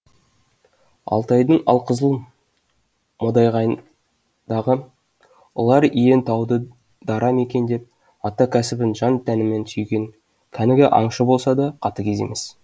алтайдың алқызыл модағайындағы ұлар иен тауды дара мекендеп ата кәсібін жан тәнімен сүйген кәнігі аңшы болса да қатыгез емес